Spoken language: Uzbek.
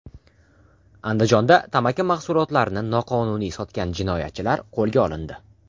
Andijonda tamaki mahsulotlarini noqonuniy sotgan jinoyatchilar qo‘lga olindi.